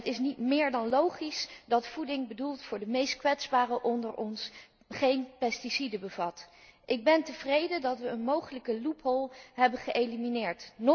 Het is niet meer dan logisch dat voeding bedoeld voor de meest kwetsbaren onder ons, geen pesticiden bevat. Ik ben tevreden dat we een mogelijke loophole hebben geëlimineerd.